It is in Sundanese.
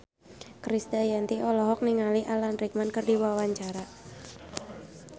Krisdayanti olohok ningali Alan Rickman keur diwawancara